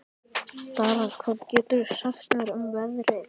Dara, hvað geturðu sagt mér um veðrið?